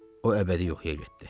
O əbədi yuxuya getdi.